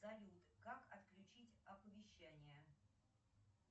салют как отключить оповещания